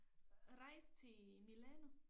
Rejse til Milano